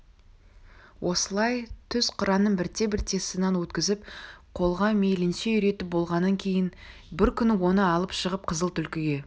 осылай түз қыранын бірте-бірте сыннан өткізіп қолға мейлінше үйретіп болғаннан кейін бір күні оны алып шығып қызыл түлкіге